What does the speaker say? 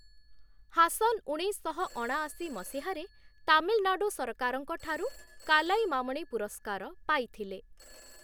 ହାସନ୍‌ ଉଣେଇଶଶହ ଅଣାଅଶୀ ମସିହାରେ ତାମିଲନାଡ଼ୁ ସରକାରଙ୍କ ଠାରୁ କାଲାଇମାମଣି ପୁରସ୍କାର ପାଇଥିଲେ ।